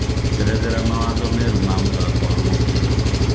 njerethera mawatho merũ ma mũthako wa mũbĩra